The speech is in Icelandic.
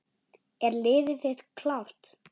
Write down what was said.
Er liðið þitt klárt?